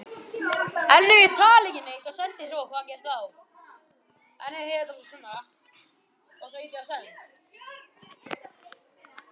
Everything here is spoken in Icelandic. Amma segir okkur krökkunum stundum sögur.